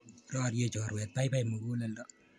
Roriei choruet, baibai muguleldo